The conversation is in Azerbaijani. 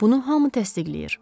Bunu hamı təsdiqləyir.